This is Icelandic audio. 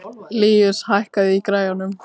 Líus, hækkaðu í græjunum.